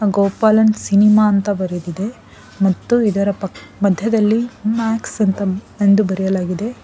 Gopalan cinema ಅಂತ ಬರೆದಿದೆ ಮತ್ತು ಇದರ ಪಕ ಮಧ್ಯದಲ್ಲಿ ಮ್ಯಾಕ್ಸ್ ಅಂತ ಎಂದು ಬರೆಯಲಾಗಿದೆ.